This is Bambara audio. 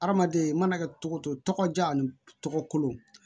Hadamaden i mana kɛ togo togo diya ni tɔgɔ kolo